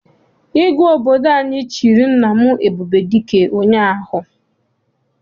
Igwe obodo anyị chịrị nna m Ebubedike ụnyaahụ.